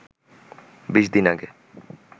২০ দিন আগে